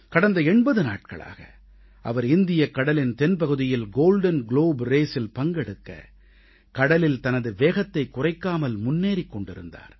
கடந்த 80 நாட்களாக அவர் இந்தியக் கடலின் தென்பகுதியில் கோல்டன் குளோப் Raceஇல் பங்கெடுக்க கடலில் தனது வேகத்தைக் குறைக்காமல் முன்னேறிக் கொண்டிருந்தார்